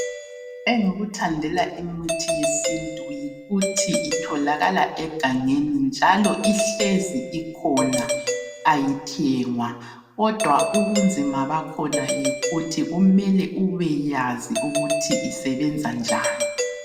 Engikuthandela imithi yesintu yikuthi itholakala egangeni njalo ihlezi ikhona. Ayithengwa, kodwa ubunzima bakhona yikuthi kumele ubeyazi ukuthi isebenza njani.